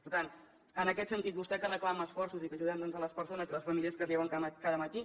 per tant en aquest sentit vostè que reclama esforços i que ajudem les persones i les famílies que es lleven cada matí